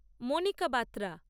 Monika Batra